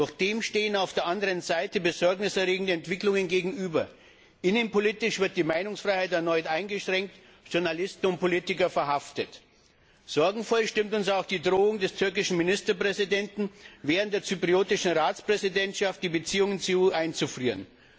Doch dem stehen auf der anderen Seite besorgniserregende Entwicklungen gegenüber Innenpolitisch wird die Meinungsfreiheit erneut eingeschränkt, Journalisten und Politiker werden verhaftet. Sorgenvoll stimmt uns auch die Drohung des türkischen Ministerpräsidenten, während der zypriotischen Ratspräsidentschaft die Beziehungen zur EU einzufrieren.